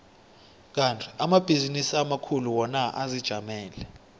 kandi amabhizinisi amakhulu wona azijamele